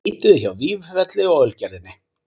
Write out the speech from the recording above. Leituðu hjá Vífilfelli og Ölgerðinni